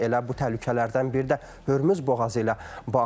Elə bu təhlükələrdən biri də Hürmüz boğazı ilə bağlı idi.